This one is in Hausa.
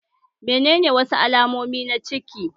Menene wasu alamomi na ciki?